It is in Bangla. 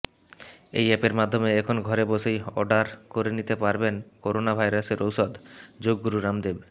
এই অ্যাপের মাধ্যমে এখন ঘরে বসেই অর্ডার করে নিতে পারবেন করোনা ভাইরাসের ওষুধঃ যোগগুরু রামদেব